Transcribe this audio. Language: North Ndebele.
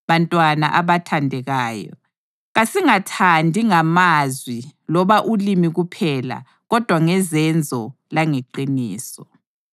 Bantwana abathandekayo, kasingathandi ngamazwi loba ulimi kuphela kodwa ngezenzo langeqiniso.